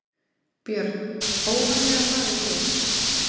Björn: Óvarlega farið hér?